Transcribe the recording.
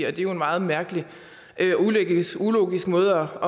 er det jo en meget mærkelig ulogisk måde